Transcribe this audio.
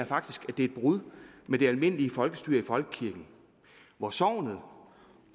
faktisk et brud med det almindelige folkestyre i folkekirken hvor sognet